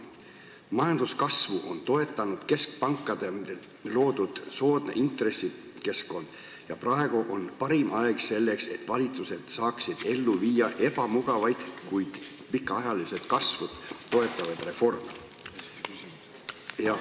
Majanduskasvu on toetanud keskpankade loodud soodne intressikeskkond ja praegu on parim aeg selleks, et valitsused saaksid ellu viia ebamugavaid, kuid pikaajalist kasvu toetavaid reforme.